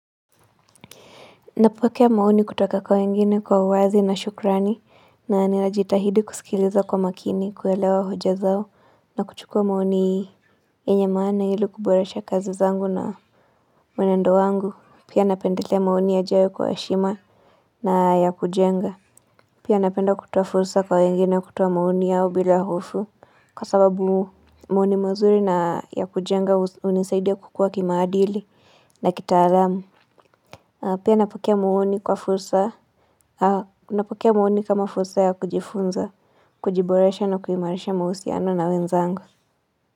Napokea maoni kutoka kwa wengine kwa uwazi na shukrani na ninajitahidi kusikiliza kwa makini kuelewa hoja zao na kuchukua maoni yenye maana ili kuboresha kazi zangu na mwenendo wangu. Pia napendelea maoni yajayo kwa heshima na ya kujenga. Pia napenda kutoa fursa kwa wengine kutoa maoni yao bila hofu kwa sababu maoni mazuri na ya kujenga hunisaidia kukua kimaadili na kitaalamu. Pia napokea maoni kwa fursa Napokea maoni kama fursa ya kujifunza, kujiboresha na kuimarisha mahusiano na wenzangu.